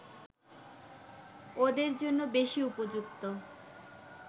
ওদের জন্য বেশি উপযুক্ত